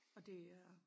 Og det er